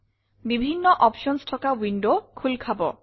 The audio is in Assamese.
বিভিন্ন অপশ্যনছ থকা ৱিণ্ডৱ খোল খাব